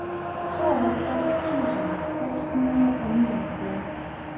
tooghalvtreds tusind seks hundrede og nioghalvfjerds